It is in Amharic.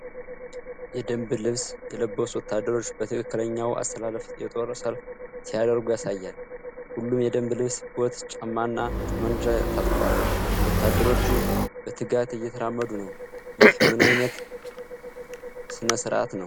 የደንብ ልብስ የለበሱ ወታደሮች በትክክለኛው አሰላለፍ የጦር ሰልፍ ሲያደርጉ ያሳያል። ሁሉም የደንብ ልብስ፣ ቦት ጫማና ጠብመንጃ ታጥቀዋል። ወታደሮቹ በትጋት እየተራመዱ ነው። ይህ ምን ዓይነት ሥነ ሥርዓት ነው?